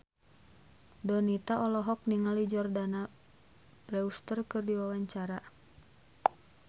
Donita olohok ningali Jordana Brewster keur diwawancara